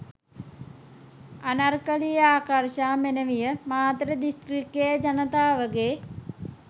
අනර්කලී ආකර්ෂා මෙනවිය මාතර දිස්ත්‍රික්කයේ ජනතාවගේ